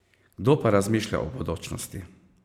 Kdo pa razmišlja o bodočnosti?